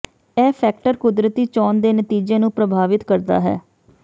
ਇਹ ਫੈਕਟਰ ਕੁਦਰਤੀ ਚੋਣ ਦੇ ਨਤੀਜੇ ਨੂੰ ਪ੍ਰਭਾਵਿਤ ਕਰਦਾ ਹੈ